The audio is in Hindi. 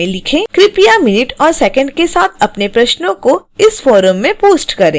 कृपया मिनट और सेकंड के साथ अपने प्रश्नों को इस फोरम में पोस्ट करें